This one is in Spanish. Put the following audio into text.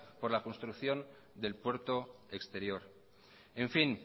por la construcción del puerto exterior en fin